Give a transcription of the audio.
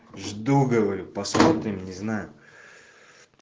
жду говорю посмотрим не знаю